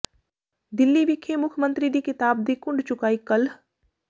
ਦਿੱਲੀ ਵਿਖੇ ਮੁੱਖ ਮੰਤਰੀ ਦੀ ਕਿਤਾਬ ਦੀ ਘੁੰਡ ਚੁਕਾਈ ਕੱਲ੍ਹ